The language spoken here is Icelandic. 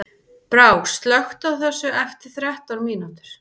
Brá, slökktu á þessu eftir þrettán mínútur.